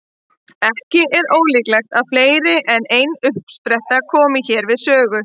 Ekki er ólíklegt að fleiri en ein uppspretta komi hér við sögu.